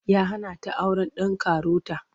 Ya hana ta auren ɗan karota.